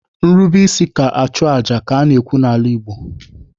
Nrube isi ka achụ aja ka a na-ekwu n'ala Igbo.